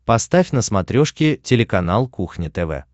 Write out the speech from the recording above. поставь на смотрешке телеканал кухня тв